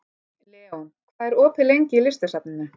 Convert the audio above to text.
Leon, hvað er opið lengi í Listasafninu?